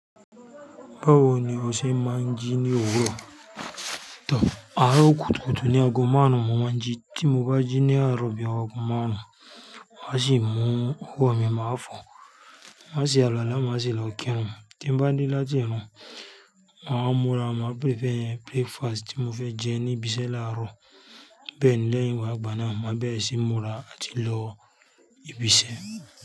Báwo ni o ṣe máa ń jí ní òwúrọ̀? Tor, aro kútúkùtu ni ago márùn ni mo máa ń jí. Tí mo bá jí ní àárọ̀ bíi owo ago máàrùn, maa sì mú ọwọ́ mi máa fọ̀, ma se alu wala, maá sì lọ kírun. Tí mo bá dé láti ìrun, ma wá múra, ma prepare breakfast tí mo fẹ́ jẹ ní ibi iṣẹ́ láàárọ̀. Bẹ́ẹ̀ ni lẹ́yìn ìwà ìgbà náà, máa bẹ̀rẹ̀ sí ní múra àti lọ ibi iṣẹ́.